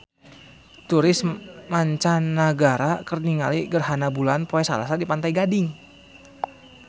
Turis mancanagara keur ningali gerhana bulan poe Salasa di Pantai Gading